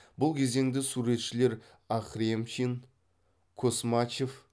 бұл кезеңде суретшілер ахремчин космачев